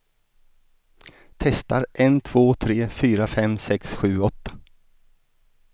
Testar en två tre fyra fem sex sju åtta.